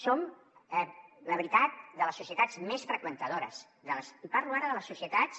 som la veritat de les societats més freqüentadores i parlo ara de les societats